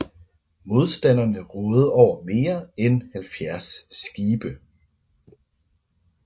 Modstanderne rådede over mere end 70 skibe